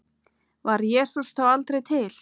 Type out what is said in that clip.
Var Jesús þá aldrei til?